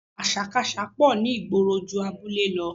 Àṣàkaṣà pọ̀ ní ìgboro ju abúlé lọ